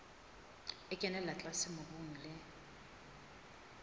e kenella tlase mobung le